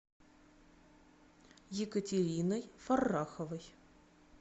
екатериной фарраховой